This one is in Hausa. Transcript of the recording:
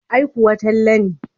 Ai kuwa Talle ne.